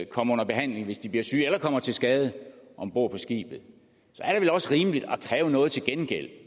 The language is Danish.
komme under behandling hvis de bliver syge eller kommer til skade om bord på skibet så er det vel også rimeligt at kræve noget til gengæld